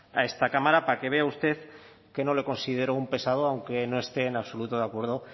a esta cámara para que vea usted que no le considero un pesado aunque no esté en absoluto de acuerdo